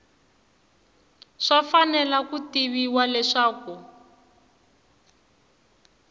swi fanele ku tiviwa leswaku